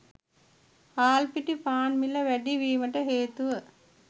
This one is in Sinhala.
හාල් පිටි පාන් මිල වැඩි වීමට හේතුව